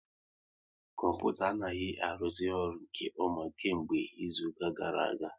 Kọmputa anaghị aruzi ọrụ nke ọma kemgbe izuka gara aga